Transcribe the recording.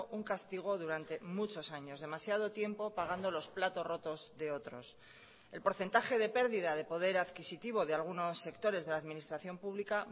un castigo durante muchos años demasiado tiempo pagando los platos rotos de otros el porcentaje de pérdida de poder adquisitivo de algunos sectores de la administración pública